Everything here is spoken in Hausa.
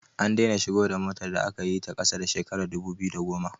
An daina shigo da motar da aka yi ta ƙasa da shekarar 2010